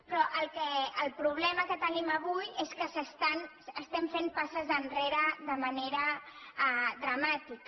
però el problema que tenim avui és que estem fent passes enrere de manera dramàtica